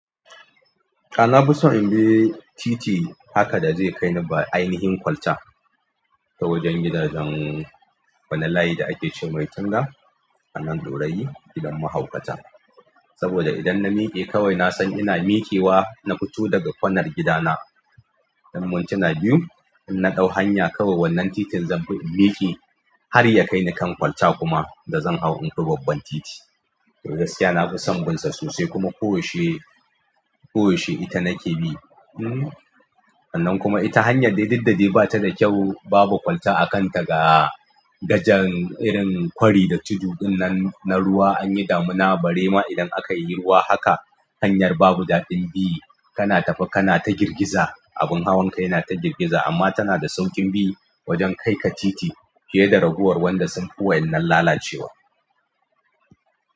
A'a, na fi son in bi titi haka da zai kai ni ba ainihin kwalta ta wajen gidajen, wani layi da ake cemar tunga anan daurayi gidan mahaukata. Saboda idan na miƙe kawai na san ina miƙewa, na fito daga kwanar gidana. Mun tuna biyu, in na ɗau hanya kawai wannan titin zan bi in miƙe har ya kai ni kan kwalta kuma da zan hau in bi babban titi. To gaskiya na fi son binsa sosai kuma koyaushe, koyaushe ita nake bi. Sannan kuma ita hanyar dai duk da dai ba ta da kyau, babu kwalta a kanta ga gajan irin kwari da tudu'in na, na ruwa anyi damina barema idan aka yi ruwa haka. Hanyar babu daɗin bi, kana tafi kana ta girgiza. Abin hawanka yana ta girgiza amma tana da sauƙin bi wajen kai ka titi fiye da raguwar wanda sun fi wa' yannan lalacewa.